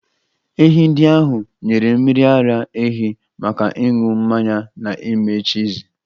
Ehi ndị ahụ nyere mmiri ara ehi maka ịṅụ mmanya na ime chiizi.